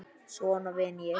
Svona vinn ég.